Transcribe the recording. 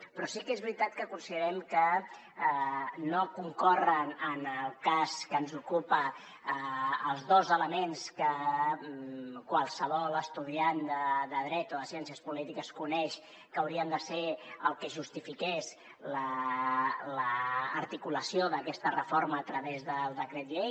però sí que és veritat que considerem que no concorren en el cas que ens ocupa els dos elements que qualsevol estudiant de dret o de ciències polítiques coneix que haurien de ser el que justifiqués l’articulació d’aquesta reforma a través del decret llei